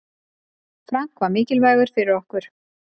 Frank var mikilvægur fyrir okkur.